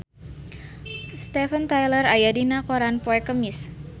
Steven Tyler aya dina koran poe Kemis